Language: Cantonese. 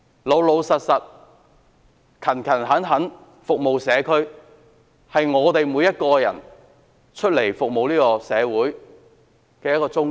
老實而勤懇地服務社區，是我們每一個服務社會的人的宗旨。